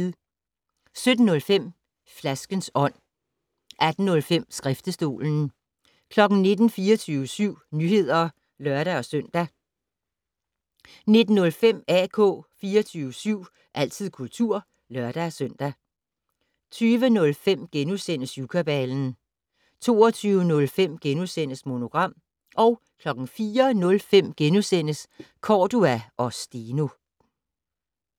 17:05: Flaskens ånd 18:05: Skriftestolen 19:00: 24syv Nyheder (lør-søn) 19:05: AK 24syv - altid kultur (lør-søn) 20:05: Syvkabalen * 22:05: Monogram * 04:05: Cordua & Steno *